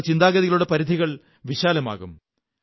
നിങ്ങളുടെ ചിന്താഗതികളുടെ പരിധികൾ വിശാലമാകും